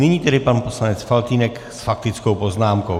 Nyní tedy pan poslanec Faltýnek s faktickou poznámkou.